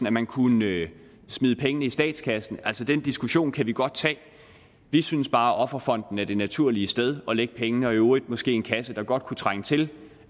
at man kunne smide pengene i statskassen altså den diskussion kan vi godt tage vi synes bare at offerfonden er det naturlige sted at lægge pengene og i øvrigt måske en kasse der godt kunne trænge til